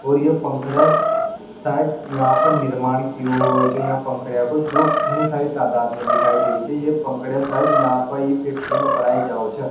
और ये पंखेड़े सायद यहाँ पर निर्माण किये होइछो यहाँ पंखेड़या को जो यहाँ घणी सारी तादाद में दिखाई दे री छे ये पंखडे शायद यहाँ पर ई फैक्टरी में बनायीं जाऊ छे।